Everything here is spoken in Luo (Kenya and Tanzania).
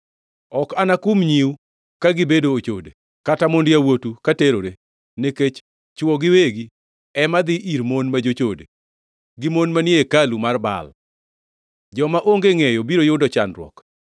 “Ok anakum nyiu ka gibedo ochode, kata mond yawuotu ka terore, nikech chwo giwegi ema dhi ir mon ma jochode, gi mon manie hekalu mar Baal. Joma onge ngʼeyo biro yudo chandruok!